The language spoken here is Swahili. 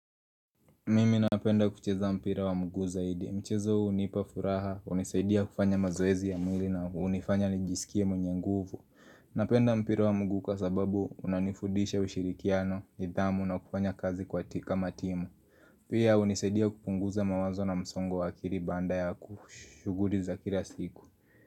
Mimi napenda kucheza mpira wa mguu zaidi. Michezo unipa furaha, unisaidia kufanya mazoezi ya mwili na unifanya nijisikie mwenye nguvu. Napenda mpira wa mguu kwasababu unanifudisha ushirikiano, nidhamu na kufanya kazi kwati kama timu. Pia unisaidia kupunguza mawazo na msongo wa akili baanda yaku shughuli za kila siku.